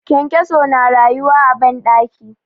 kyankyaso na rayuwa a banɗaki